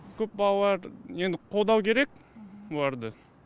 көп балалылар енді қолдау керек оларды